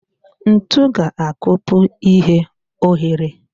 Ntu ga-akpọpu ihe oghere